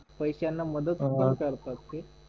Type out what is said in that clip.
पैश्यां मद्त सुद्धा करतात ते